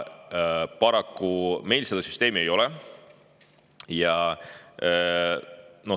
Paraku meil seda süsteemi ei ole.